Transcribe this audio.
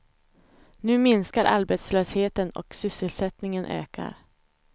Nu minskar arbetslösheten och sysselsättningen ökar.